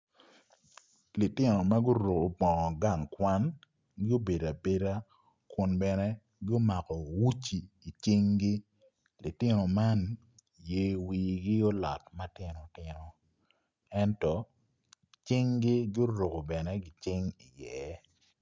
Litino ma guruku bongo gang kwan gubedo abeda kun bene gumako uci icinggi litino man ye wigi olot matino tino ento cinggi guruku bene gicing iye